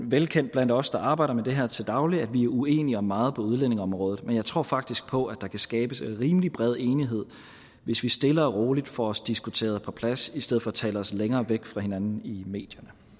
velkendt blandt os der arbejder med det her til daglig at vi er uenige om meget på udlændingeområdet men jeg tror faktisk på at der kan skabes rimelig bred enighed hvis vi stille og roligt får os diskuteret på plads i stedet for at tale os længere væk fra hinanden i medierne